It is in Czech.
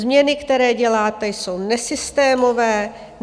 Změny, které děláte, jsou nesystémové.